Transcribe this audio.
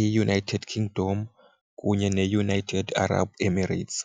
iUnited Kingdom kunye neUnited Arab Emirates.